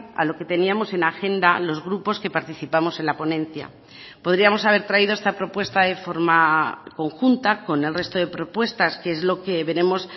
a lo que teníamos en la agenda los grupos que participamos en la ponencia podríamos haber traído esta propuesta de forma conjunta con el resto de propuestas que es lo que veremos